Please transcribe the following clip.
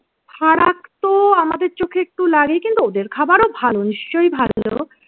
ফারাক তো আমাদের চোখে একটু লাগে কিন্তু ওদের খাবারও ভালো নিশ্চয়ই ভালো।